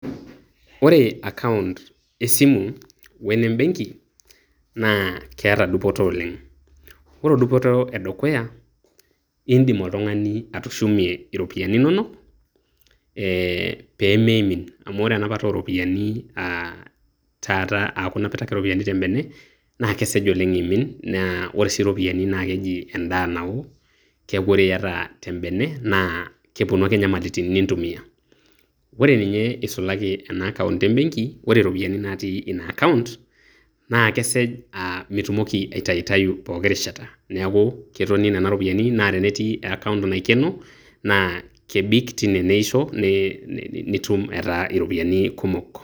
Ore account esimu wenembenki naa keeta dupoto oleng', ore dupoto edukuya, indim oltung'ani atushumie iropiyiani inonok eeh peemeimin, amu ore enapata ooropiyiani aah taata aaku inapita ake ropiyiani tembene naa kesej oleng' eimin, naa ore sii ropiyiani naa keji endaa nawo keeku ore iyata tembene naa kepuonu ake nyamalitin nintumiya. Ore ninye eisulaki ena account embenki, ore ropiyiani natii ina account naa kesej aa mitumoki aitayutayu pooki rishata neeku ketoni nena ropiyiani naa tenetii account naikeno naa kebik tine neisho neei nitum etaa iropiyiani kumok.